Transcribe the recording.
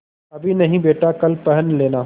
अभी नहीं बेटा कल पहन लेना